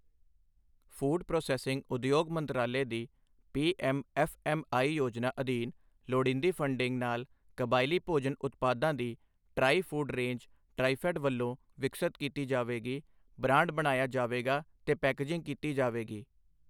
Food processing ਉਦਯੋਗ ਮੰਤਰਾਲੇ ਦੀ ਪੀਐੱਮ ਐੱਫ਼ਐੱਮਈ ਯੋਜਨਾ ਅਧੀਨ ਲੋੜੀਂਦੀ ਫ਼ੰਡਿੰਗ ਨਾਲ ਕਬਾਇਲੀ ਭੋਜਨ ਉਤਪਾਦਾਂ ਦੀ ਟ੍ਰਾਈ ਫ਼ੂਡ ਰੇਂਜ ਟ੍ਰਾਈਫ਼ੈੱਡ ਵੱਲੋਂ ਵਿਕਸਤ ਕੀਤੀ ਜਾਵੇਗੀ, ਬ੍ਰਾਂਡ ਬਣਾਇਆ ਜਾਵੇਗਾ ਤੇ ਪੈਕੇਜਿੰਗ ਕੀਤੀ ਜਾਵੇਗੀ।